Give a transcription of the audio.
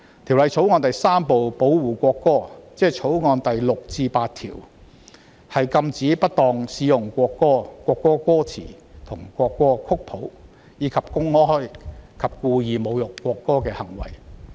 《條例草案》第3部保護國歌，即《條例草案》第6至8條，禁止不當使用國歌、國歌歌詞或國歌曲譜，以及公開及故意侮辱國歌的行為。